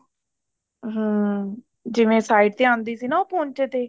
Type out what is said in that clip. ਹਾਂ ਜਿਵੇਂ side ਤੇ ਆਉਂਦੀ ਸੀ ਨਾ ਪੋੰਚੇ ਤੇ